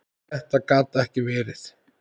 Þetta gat ekki verið!